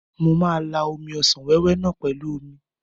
Mo ma la omi ọsàn wéwé náà pẹ̀lú omi.